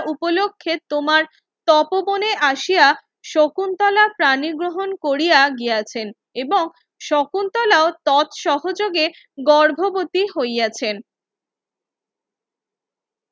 উপলক্ষে তোমার তপোবনে আসিয়া শকুন্তলা পানি গ্রহণ কোরিয়া গিয়াছেন এবং শকুন্তলাও তৎ সহযোগে গর্ভবতী হইয়াছেন